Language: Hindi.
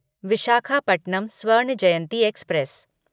विशाखापट्टनम स्वर्ण जयंती एक्सप्रेस